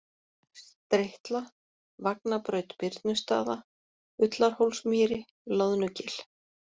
Stritla, Vagnabraut Birnustaða, Ullarhólsmýri, Loðnugil